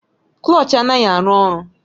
Klọch anaghị arụ ọrụ